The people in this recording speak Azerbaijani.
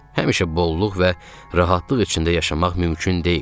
Həmişə bolluq və rahatlıq içində yaşamaq mümkün deyil.